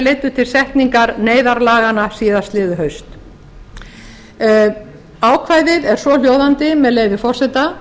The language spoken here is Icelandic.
leiddu til setningar neyðarlaganna síðastliðið haust ákvæðið er svohljóðandi með leyfi forseta